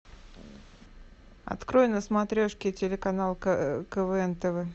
открой на смотрешке телеканал квн тв